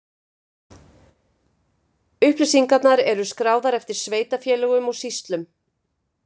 Upplýsingarnar eru skráðar eftir sveitarfélögum og sýslum.